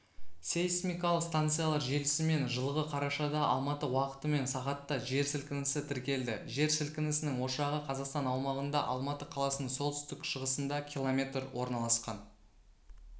сейсмикалық станциялар желісімен жылғы қарашада алматы уақытымен сағатта жер сілкінісі тіркелді жер сілінісінің ошағы қазақстан аумағында алматы қаласының солтүстік-шығысында км орналасқан